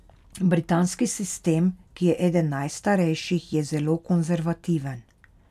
Britanski sistem, ki je eden najstarejših, je zelo konservativen.